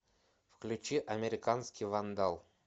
включи американский вандал